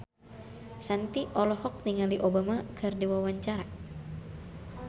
Shanti olohok ningali Obama keur diwawancara